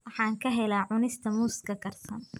Waxaan ka helaa cunista muuska karsan.